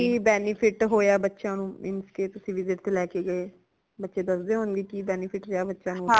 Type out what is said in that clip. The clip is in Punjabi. ਕਿ benefit ਹੋਇਆ ਬੱਚਿਆਂ ਨੂ ਇਨ case ਤੁਸੀ visit ਤੇ ਲੈ ਕੇ ਗਏ ਬੱਚੇ ਦਸਦੇ ਹੋਣਗੇ ਕਿ benefit ਰਿਆ ਬੱਚਿਆਂ ਨੂ